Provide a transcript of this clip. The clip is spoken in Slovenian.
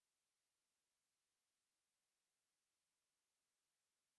Predvsem pa Boštjan ni običajen zaradi izjemnega značaja.